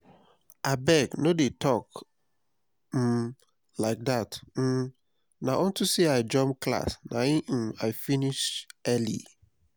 abeg no dey talk um like dat um na unto say i jump class na im i finish early